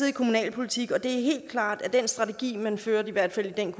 i kommunalpolitik og det er helt klart at den strategi man fulgte i hvert fald i den